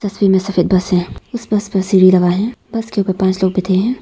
तस्वीर में सफेद बस है इस बस पर सीढ़ी लगा है बस के ऊपर पांच लोग बैठे हैं।